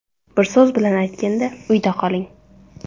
Bir so‘z bilan aytganda – uyda qoling!